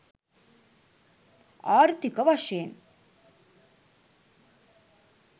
ආර්ථීක වශයෙන්